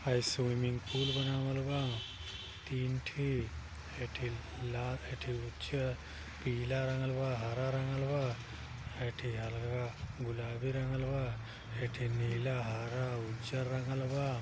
हई swimming pool बनावल बा तीन ठे। ए ठे लाल ए ठे उज्जर पीला रंगल बा हरा रंगल बा। ए ठे अलगा गुलाबी रंगल बा ए ठे नीला हरा उज्जर रंगल बा।